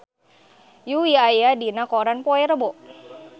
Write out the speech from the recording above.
Yui aya dina koran poe Rebo